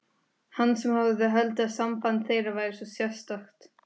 Hann sem hafði haldið að samband þeirra væri svo sérstakt.